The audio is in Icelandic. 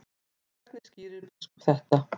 Hvernig skýrir biskup þetta?